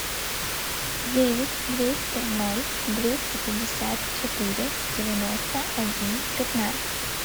девять двести ноль двести пятьдесят четыре девяносто один пятнадцать